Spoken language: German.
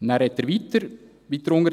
[…]», und dann, weiter unten: